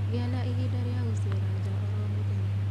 Gĩa na ihinda rĩa gũcera njaa oro mũthenya